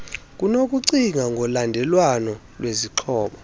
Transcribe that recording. kunokucinga ngolandelelwano lwezixhobo